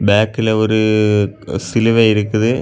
பேக்ல ஒரு சிலுவெ இருக்குது.